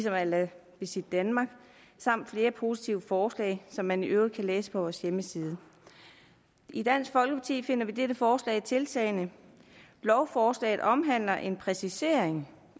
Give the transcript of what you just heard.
a la visitdenmark og flere positive forslag som man i øvrigt kan læse om på vores hjemmeside i dansk folkeparti finder vi dette forslag tiltalende lovforslaget omhandler en præcisering